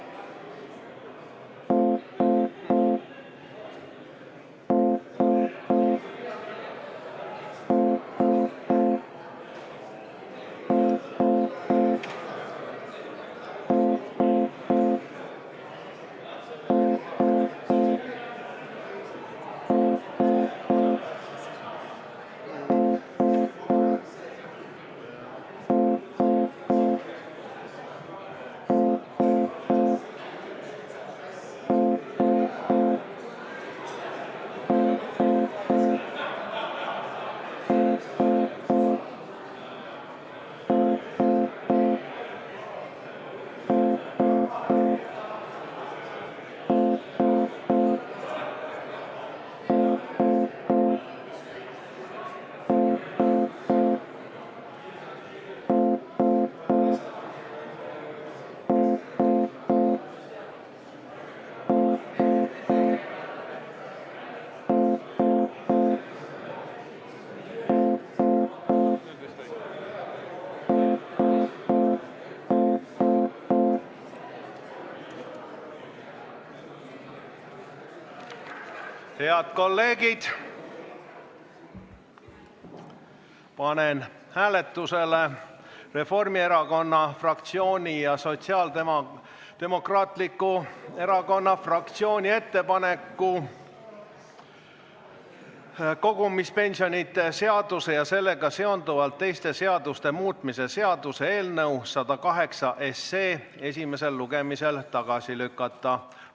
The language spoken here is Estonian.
Head kolleegid, panen hääletusele Reformierakonna fraktsiooni ja Sotsiaaldemokraatliku Erakonna fraktsiooni ettepaneku kogumispensionide seaduse ja sellega seonduvalt teiste seaduste muutmise seaduse eelnõu 108 esimesel lugemisel tagasi lükata.